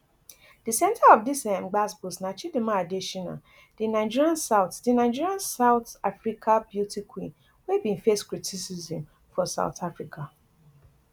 di centre of dis um gbaos gbos na chidimma adetshina di nigerian south di nigerian south africa beauty queen wey bin face criticism for soth africa